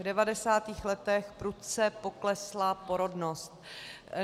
V devadesátých letech prudce poklesla porodnost.